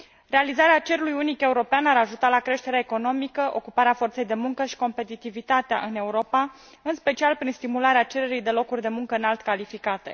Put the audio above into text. Realizarea cerului unic european ar ajuta la creșterea economică, ocuparea forței de muncă și competitivitate în Europa, în special prin stimularea cererii de locuri de muncă înalt calificate.